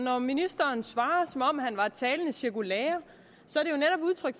når ministeren svarer som om han var et talende cirkulære